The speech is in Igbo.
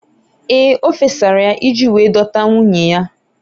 Ee! O fesara ya iji wee dọta nwunye ya.